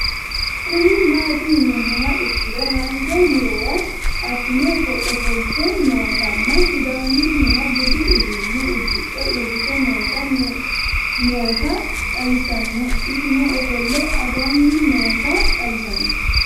Kuni mati yinumoha ikiro hanja murowa afin ofolite nootana sidamuniha budu udune udixe urite noota noota xawisana isi I ofole again noota xawisana